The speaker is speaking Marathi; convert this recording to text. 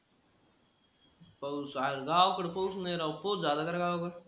पाऊस आरं गावाकडं पाऊस नाही राव. पाऊस झाला का रे गावाकडं?